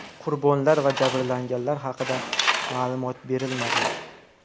Qurbonlar va jabrlanganlar haqida ma’lumot berilmadi.